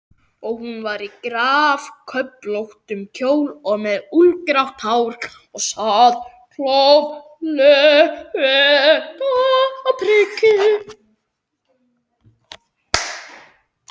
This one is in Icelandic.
Og hún var í gráköflóttum kjól og með úlfgrátt hár og sat klofvega á priki.